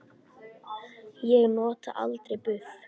Ég nota aldrei buff.